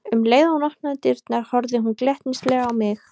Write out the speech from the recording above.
Um leið og hún opnaði dyrnar horfði hún glettnislega á mig.